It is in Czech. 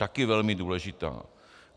Také velmi důležitá.